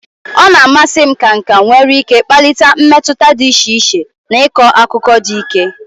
Ọ na-amasị m ka nka nwere ike kpalite mmetụta dị iche iche na ịkọ akụkọ dị ike.